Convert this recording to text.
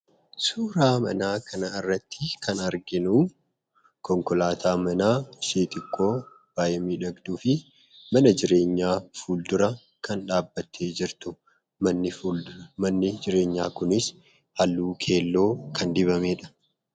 Suuraa Mana kanarratti kan arginu, konkolaataa Manaa ishee xiqqoo baay'ee miidhagduu fi Mana jireenyaa fuuldura kan dhabbattee jirtudha. Manni jireenya kunis halluu keelloo kan dibamedha.